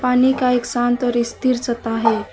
पानी का एक शांत और स्थिर सतह है।